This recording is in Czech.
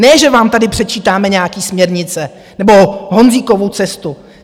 Ne, že vám tady předčítáme nějaké směrnice nebo Honzíkovu cestu.